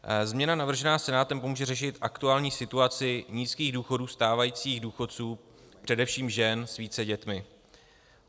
Změna navržená Senátem pomůže řešit aktuální situaci nízkých důchodů stávajících důchodců, především žen s více dětmi.